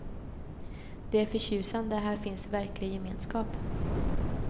Det är förtjusande, här finns verklig gemenskap.